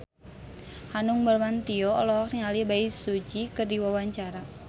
Hanung Bramantyo olohok ningali Bae Su Ji keur diwawancara